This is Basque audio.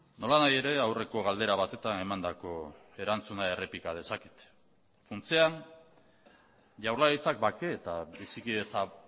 nolanahi ere aurreko galdera batetan emandako erantzuna errepika dezaket funtsean jaurlaritzak bake eta bizikidetza